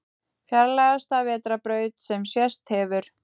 Fjarlægasta vetrarbraut sem sést hefur